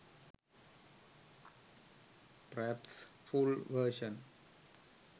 fraps full version